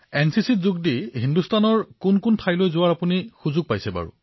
প্ৰধানমন্ত্ৰীঃ এনচিচিৰ বাবে হিন্দুস্তানৰ কোন কোন ঠাইলৈ যোৱাৰ সুযোগ পাইছে